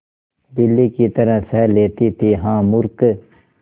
बिल्ली की तरह सह लेती थीहा मूर्खे